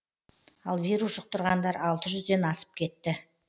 ал вирус жұқтырғандар алты жүзден асып кетті